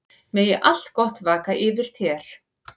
Megi allt gott vaka yfir þér.